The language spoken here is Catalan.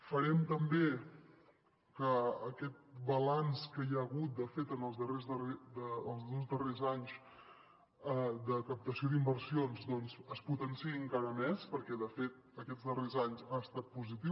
farem també que aquest balanç que hi ha hagut de fet en els dos darrers anys de captació d’inversions es potenciï encara més perquè de fet aquests darrers anys ha estat positiu